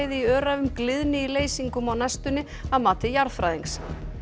í Öræfum gliðni í leysingum á næstunni að mati jarðfræðings